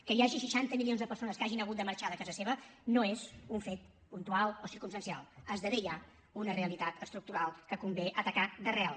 que hi hagi seixanta milions de persones que hagin hagut de marxar de casa seva no és un fet puntual o circumstancial esdevé ja una realitat estructural que convé atacar d’arrel